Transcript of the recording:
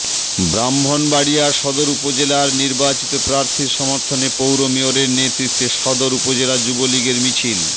ব্রাহ্মণবাড়িয়া সদর উপজেলার নির্বাচিত প্রার্থীর সমর্থনে পৌর মেয়রের নেতৃত্বে সদর উপজেলা যুবলীগের মিছিল